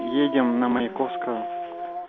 едем на маяковского